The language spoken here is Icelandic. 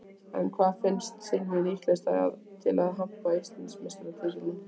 En hvaða lið finnst Silvíu líklegast til að hampa Íslandsmeistaratitlinum?